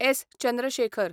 S. Chandrashekhar